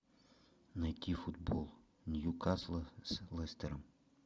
найти футбол ньюкасла с лестером